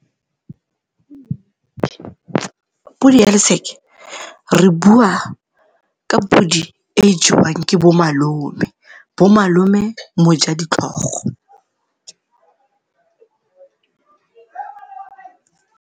Podi ya re bua ka podi e e jewang ke bomalome, bomalome mojaditlhogo.